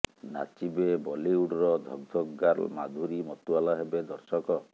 ନାଚିବେ ବଲିଉଡର ଧକ୍ ଧକ୍ ଗାର୍ଲ ମାଧୁରୀ ମତୁଆଲା ହେବେ ଦର୍ଶକ